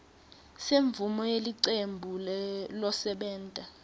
semvumo yelicembu losebenta